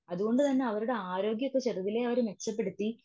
അതുകൊണ്ട് തന്നെ അവരുടെ ആരോഗ്യമൊക്കെ ചെറുതിലെ മെച്ചപ്പെടുത്തി.